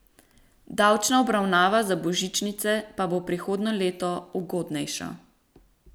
Davčna obravnava za božičnice pa bo prihodnje leto še ugodnejša.